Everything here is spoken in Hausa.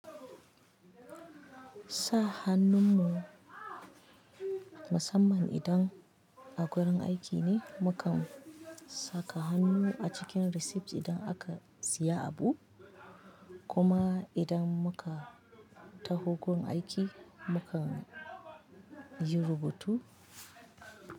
Sa hannun mu musamman idan a gurin aiki ne, mukan saka hannu a cikin receipt idan aka siya abu, kuma idan muka taho gon aiki mukan yi rubutu.